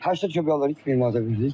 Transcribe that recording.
Pəştək çubuqları heç bir manata vermir.